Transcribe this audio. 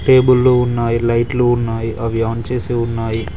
టేబుల్లు ఉన్నాయి లైట్లు ఉన్నాయి అవి ఆన్ చేసి ఉన్నాయి.